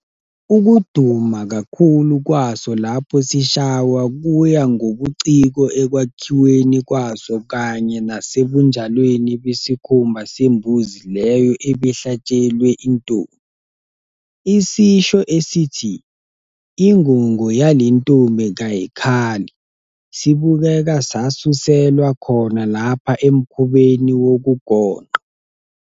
Ukuduma kakhulu kwaso lapho sishaywa kuya ngobuciko ekwakhiweni kwaso kanye nasebunjalweni besikhumba sembuzi leyo ebihlatshelwe intombi. Isisho esithi "ingungu yale ntombi kayikhali" sibukeka sasuselwa khona lapha emkhubeni wokugonqa.